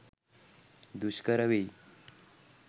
දුෂ්කර වෙයි.